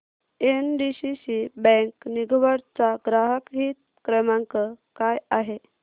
NDCC bank दिघवड चा ग्राहक हित क्रमांक काय आहे